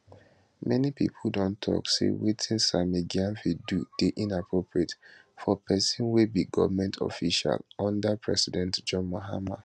many pipo don tok say wetin sammy gyamfi do dey inappropriate for pesin wey be goment official under president john mahama